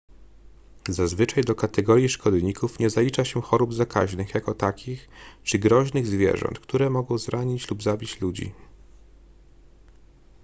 zazwyczaj do kategorii szkodników nie zalicza się chorób zakaźnych jako takich czy groźnych zwierząt które mogą zranić lub zabić ludzi